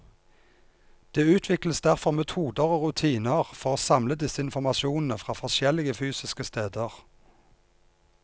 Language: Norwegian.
Det utvikles derfor metoder og rutiner for å samle disse informasjonene fra forskjellige fysiske steder.